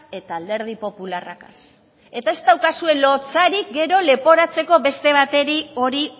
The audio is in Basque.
eta alderdi popularragaz eta ez daukazue lotsarik gero leporatzeko beste bateri hori